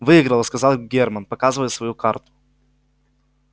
выиграла сказал германн показывая свою карту